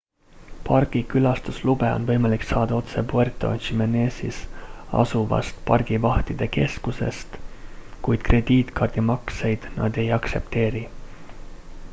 pargi külastuslube on võimalik saada otse puerto jiménezis asuvast pargivahtide keskusest kuid krediitkaardimakseid nad ei aktsepteeri